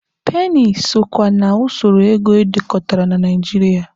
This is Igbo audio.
Peeni so kwa na usoro ego edekọtara na Nigeria.